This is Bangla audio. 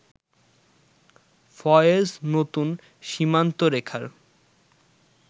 ফয়েজ নতুন সীমান্তরেখার